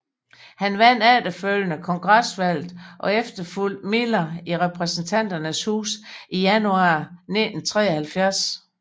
Han vandt efterfølgende kongresvalget og efterfulgte Miller i Repræsentanternes Hus i januar 1973